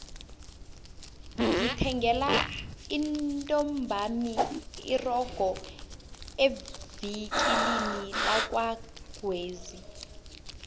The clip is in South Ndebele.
ngithengele intombami irogo evikilini lakwagwezi